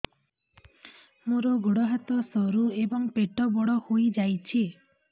ମୋର ଗୋଡ ହାତ ସରୁ ଏବଂ ପେଟ ବଡ଼ ହୋଇଯାଇଛି